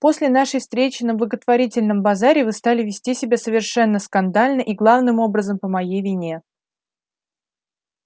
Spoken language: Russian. после нашей встречи на благотворительном базаре вы стали вести себя совершенно скандально и главным образом по моей вине